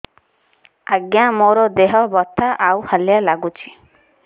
ଆଜ୍ଞା ମୋର ଦେହ ବଥା ଆଉ ହାଲିଆ ଲାଗୁଚି